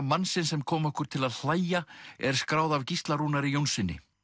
mannsins sem kom okkur til að hlæja er skráð af Gísla Rúnari Jónssyni